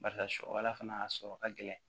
Barisa sɔ ala fana a sɔrɔ ka gɛlɛn